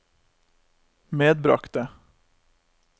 medbragte